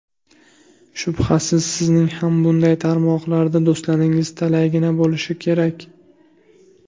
Shubhasiz, sizning ham bunday tarmoqlarda do‘stlaringiz talaygina bo‘lishi kerak.